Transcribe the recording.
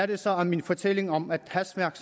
det så at min fortælling om at hastværk